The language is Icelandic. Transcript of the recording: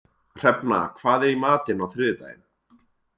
Hrefna, hvað er í matinn á þriðjudaginn?